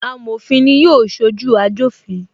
Amofin ni yóò sojú ajofin